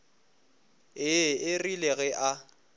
ee e rile ge a